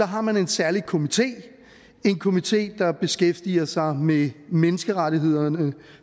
har man en særlig komité komité der beskæftiger sig med menneskerettighederne